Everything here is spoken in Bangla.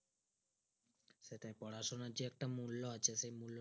সেটাই পড়াশোনার যে একটা মূল্য আছে সেই মূল্য